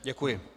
Děkuji.